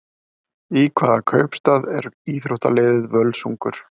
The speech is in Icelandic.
Í hvaða kaupstað er íþróttaliðið Völsungur?